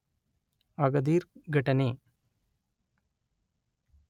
Agadir ಘಟನೆ